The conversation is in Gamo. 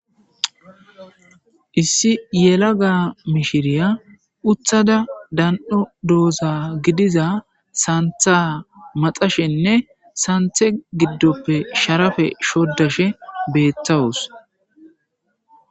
Issi yela ga mishiriya uthada dan'o dooza gidiza santha maxashenne santhe giddoppe sharafe shoddashe beettawus.